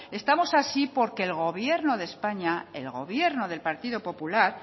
estamos así porque el gobierno de españa al gobierno del partido popular